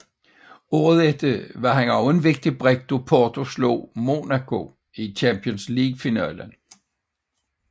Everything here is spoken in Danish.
Året efter var han ligeledes en vigtig brik da Porto slog Monaco i Champions League finalen